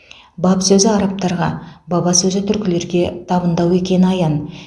баб сөзі арабтарға баба сөзі түркілерге табындау екені аян